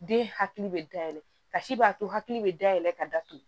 Den hakili bɛ dayɛlɛ kasi b'a to hakili bɛ dayɛlɛ ka datugu